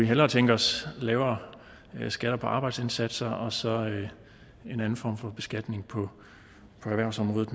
hellere tænke os lavere skatter på arbejdsindsatser og så en anden form for beskatning på erhvervsområdet